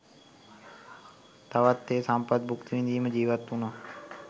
තවත් ඒ සම්පත් භුක්ති විදිමින් ජීවත් වුණා.